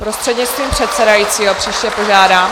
Prostřednictvím předsedajícího, příště požádám.